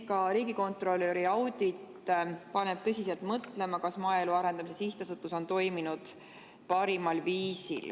Ka riigikontrolöri audit paneb tõsiselt mõtlema, kas maaelu arendamise sihtasutus on toiminud parimal viisil.